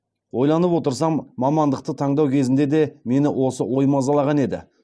ойланып отырсам мамандықты таңдау кезінде де мені осы ой мазалаған еді